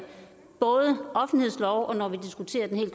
offentlighedsloven og når vi diskuterer den her